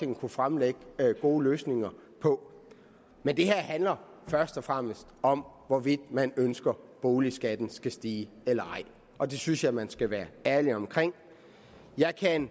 vil kunne fremlægge gode løsninger på men det her handler først og fremmest om hvorvidt man ønsker at boligskatten skal stige og det synes jeg man skal være ærlig om jeg kan